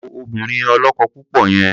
Wo obìnrin ọlọ́kọ-púpọ̀ yẹn!